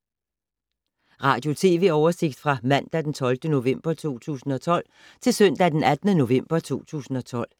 Radio/TV oversigt fra mandag d. 12. november 2012 til søndag d. 18. november 2012